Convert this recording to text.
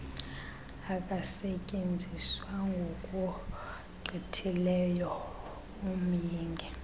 akasetyenziswa ngokugqithileyo umyinge